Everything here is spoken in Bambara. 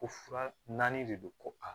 Ko fura naani de do ko a